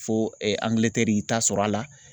Fo ANGILETƐRI y'i ta sɔrɔ a la.